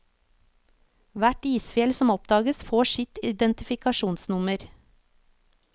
Hvert isfjell som oppdages får sitt identifikasjonsnummer.